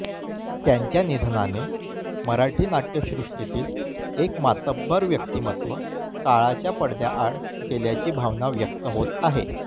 त्यांच्या निधनाने मराठी नाट्यसृष्टीतील एक मातब्बर व्यक्तीमत्व काळाच्या पडद्याआड गेल्याची भावना व्यक्त होत आहे